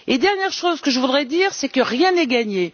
La dernière chose que je voudrais dire, c'est que rien n'est gagné.